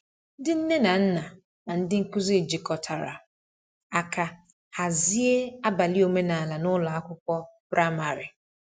Ndị nne na nna na ndị nkuzi jikọtara aka hazie abalị omenala n’ụlọ akwụkwọ praịmarị.